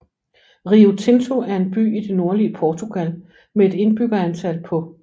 Rio Tinto er en by i det nordlige Portugal med et indbyggertal på